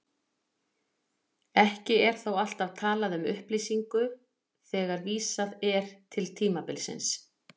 Ekki er þó alltaf talað um upplýsingu þegar vísað er til tímabilsins.